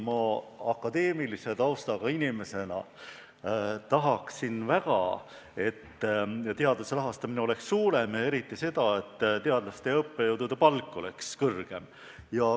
Akadeemilise taustaga inimesena ma muidugi tahaksin väga, et teaduse rahastamine oleks suurem, ja eriti seda, et teadlaste ja õppejõudude palk oleks kõrgem.